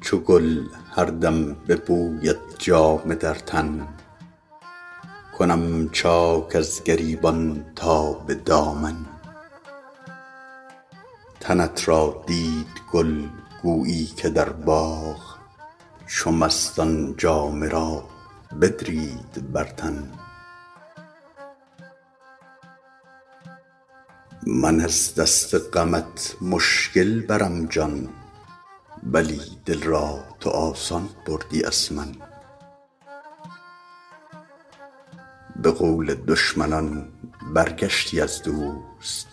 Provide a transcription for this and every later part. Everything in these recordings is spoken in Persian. چو گل هر دم به بویت جامه در تن کنم چاک از گریبان تا به دامن تنت را دید گل گویی که در باغ چو مستان جامه را بدرید بر تن من از دست غمت مشکل برم جان ولی دل را تو آسان بردی از من به قول دشمنان برگشتی از دوست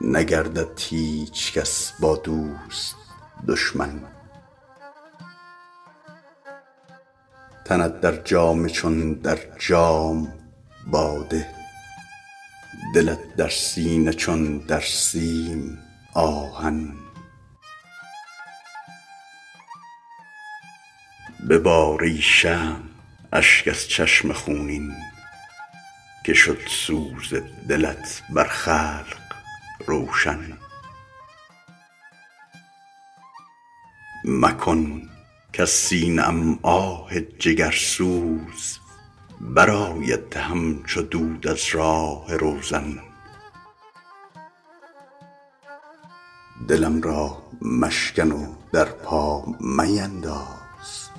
نگردد هیچ کس با دوست دشمن تنت در جامه چون در جام باده دلت در سینه چون در سیم آهن ببار ای شمع اشک از چشم خونین که شد سوز دلت بر خلق روشن مکن کز سینه ام آه جگرسوز برآید همچو دود از راه روزن دلم را مشکن و در پا مینداز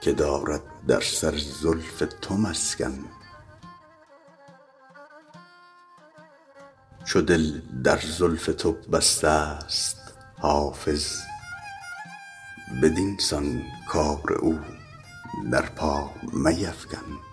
که دارد در سر زلف تو مسکن چو دل در زلف تو بسته ست حافظ بدین سان کار او در پا میفکن